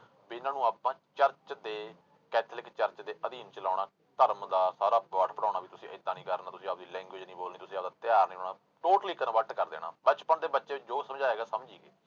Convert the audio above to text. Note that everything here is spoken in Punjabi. ਵੀ ਇਹਨਾਂ ਨੂੰ ਆਪਾਂ church ਦੇ ਕੈਥੋਲਿਕ church ਦੇ ਅਧੀਨ ਚਲਾਉਣਾ, ਧਰਮ ਦਾ ਸਾਰਾ ਪਾਠ ਪੜ੍ਹਾਉਣਾ ਵੀ ਤੁਸੀਂ ਏਦਾਂ ਨੀ ਕਰਨਾ, ਤੁਸੀਂ ਆਪਦੀ language ਨੀ ਬੋਲਣੀ ਤੁਸੀਂ ਆਪਦਾ ਤਿਉਹਾਰ ਨੀ ਮਨਾਉਣਾ totally convert ਕਰ ਦੇਣਾ, ਬਚਪਨ ਦੇ ਬੱਚੇ ਜੋ ਸਮਝਾਏਗਾ ਸਮਝੀ ਗਏ।